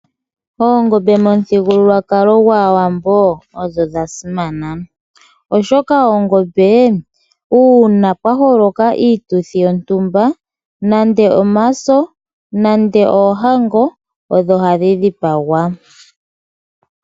Oongombe momuthigululwakalo gwaawambo odho dhasimana. Oshoka oongombe una pwa holoka iituthi yontumba nande omaso, nande oohango odho hadhi dhipangwa.